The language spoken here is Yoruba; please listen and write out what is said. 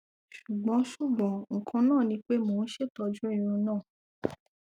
ṣugbọn ṣugbọn nkan naa ni pe mo n ṣetọju irun naa